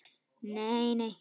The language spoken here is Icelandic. Nei, nei.